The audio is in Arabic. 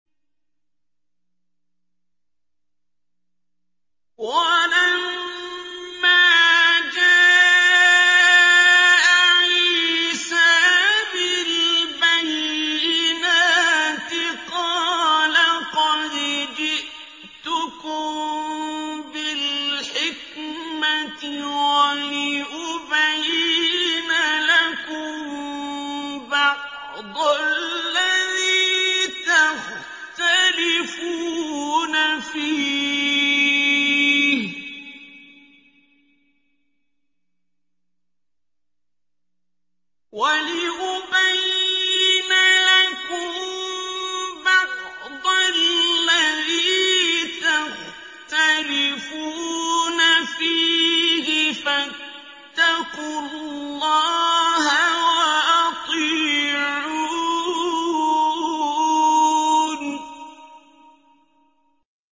وَلَمَّا جَاءَ عِيسَىٰ بِالْبَيِّنَاتِ قَالَ قَدْ جِئْتُكُم بِالْحِكْمَةِ وَلِأُبَيِّنَ لَكُم بَعْضَ الَّذِي تَخْتَلِفُونَ فِيهِ ۖ فَاتَّقُوا اللَّهَ وَأَطِيعُونِ